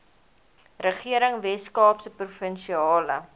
regering weskaapse provinsiale